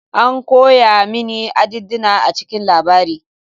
An koya mini addinina a cikin labarin.